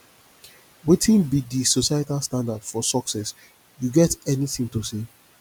wetin be di societal standard for success you get anything to say